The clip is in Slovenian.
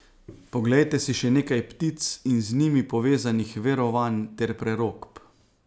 Poglejte si še nekaj ptic in z njimi povezanih verovanj ter prerokb.